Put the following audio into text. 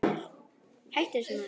Hættu þessu maður!